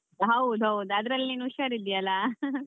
ಹೌದ್ ಹೌದ್ ಅದ್ರಲ್ಲಿ ನೀನ್ ಉಷಾರಿದ್ಧಿ ಅಲ್ಲ .